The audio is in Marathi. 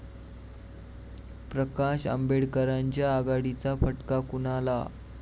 प्रकाश आंबेडकरांच्या आघाडीचा फटका कुणाला?